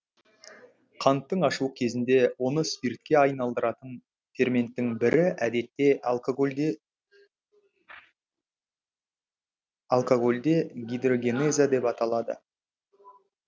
қанттың ашуы кезінде оны спиртке айналдыратын ферменттің бірі әдетте алькагольдегидрогеназа деп аталады